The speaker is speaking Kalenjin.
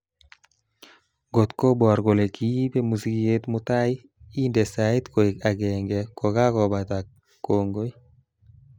Ngot kobor kole kiipe musiket mutai indee sait koek agenge kokakobata kongoi